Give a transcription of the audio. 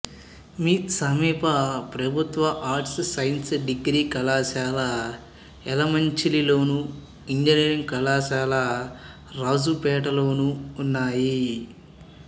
సమీప ప్రభుత్వ arts science degree కళాశాల యలమంచిలిలోను ఇంజనీరింగ్ కళాశాల రాజుపేటలోనూ ఉన్నాయి